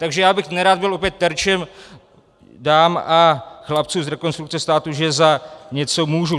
Takže já bych nerad byl opět terčem dam a chlapců z Rekonstrukce státu, že za něco můžu.